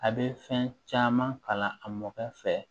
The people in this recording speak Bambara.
A bɛ fɛn caman kalan a mɔgɔ fɛ